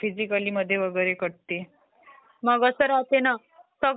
संगणक याचे काय फायदे असू शकतात आपल्याला?